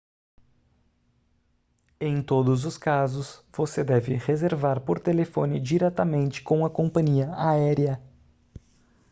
em todos os casos você deve reservar por telefone diretamente com a companhia aérea